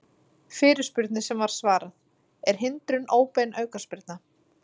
Fyrirspurnir sem var svarað: Er hindrun óbein aukaspyrna?